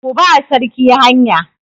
Ku ba sarki hanya!